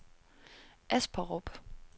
Asperup